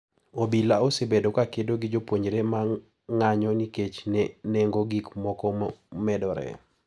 Obila osebedo ka kedo gi jopuonjre ma ng'anyo nikech nengo gik moko medore.